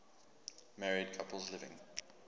married couples living